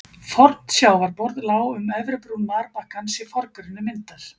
Fornt sjávarborð lá um efri brún marbakkans í forgrunni myndar.